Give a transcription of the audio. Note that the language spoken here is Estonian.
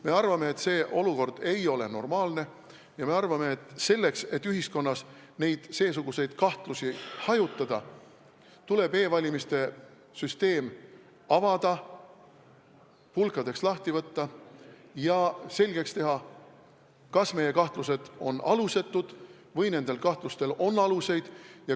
Me arvame, et see olukord ei ole normaalne, ja me arvame, et selleks, et ühiskonnas seesuguseid kahtlusi hajutada, tuleb e-valimiste süsteem avada, pulkadeks lahti võtta ja selgeks teha, kas meie kahtlused on alusetud või on nendel kahtlustel alust.